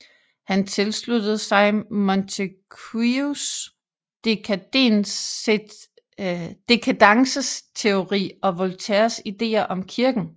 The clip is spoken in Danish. Han tilsluttede sig Montesquieus dekadenceteori og Voltaires ideer om kirken